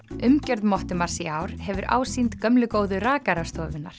umgjörð Mottumars í ár hefur ásýnd gömlu góðu